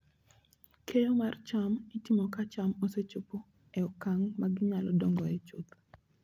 Keyo mar cham itimo ka cham osechopo e okang' ma ginyalo dongoe chuth.